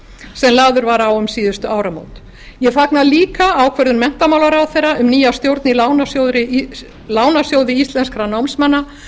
sem lagður var á um síðustu áramót ég fagna líka ákvörðun menntamálaráðherra um nýja stjórn í lánasjóði íslenskra námsmanna